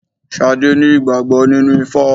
Sadé ní ìgbàgbọ́ nínú ifá.